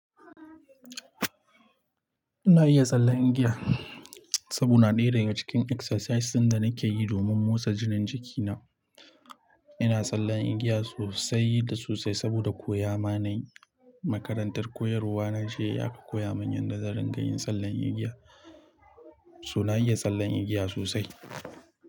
Ina iya sallan igiya saboda na ɗera daga cikin exercises ɗin da nake yi domin motsa jikin jiki na. Ina tsallan igiya sosai da sosai saboda koya ma nayi Makarantar koyarwa na je ya koya mun yadda zan rika yin tsallan igiya. So na iya tsallan igiya sosai.